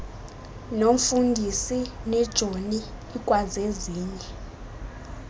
nomfundisi nejoni ikwazezinye